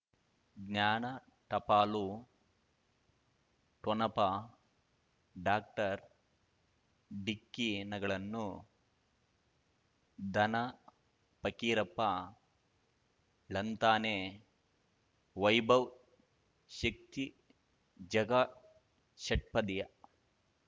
ಜ್ಞಾನ ಟಪಾಲು ಠೊಣಪ ಡಾಕ್ಟರ್ ಢಿಕ್ಕಿ ಣಗಳನು ಧನ ಫಕೀರಪ್ಪ ಳಂತಾನೆ ವೈಭವ್ ಶಕ್ತಿ ಝಗಾ ಷಟ್ಪದಿಯ